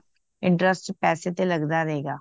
interest ਪੈਸੇ ਤੇ ਲੱਗਦਾ ਰਹੇਗਾ